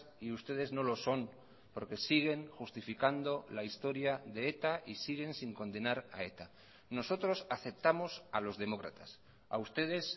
y ustedes no lo son porque siguen justificando la historia de eta y siguen sin condenar a eta nosotros aceptamos a los demócratas a ustedes